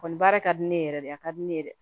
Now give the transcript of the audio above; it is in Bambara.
Kɔni baara ka di ne ye yɛrɛ de a ka di ne ye dɛ